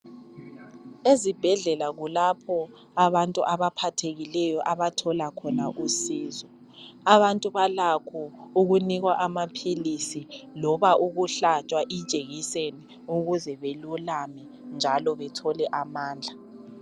Ezibhedlela kulapho abantu abaphathekileyo abathola khona usizo. Abantu balakho ukunikwa amaphilisi loba ukuhlatshwa ijekiseni ukuze belulame njalo bethole amandla.